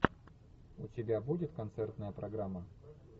у тебя будет концертная программа